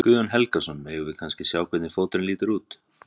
Guðjón Helgason: Megum við kannski sjá hvernig fóturinn lítur út?